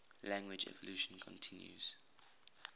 language evolution continues